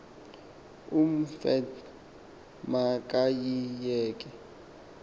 umoffat ma kayiyeke